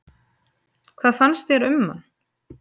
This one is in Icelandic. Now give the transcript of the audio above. Hvað fannst þér um hann?